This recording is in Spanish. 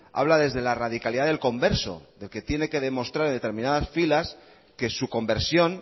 habla desde la radicalidad del converso del que tiene que demostrar en determinadas filas que su conversión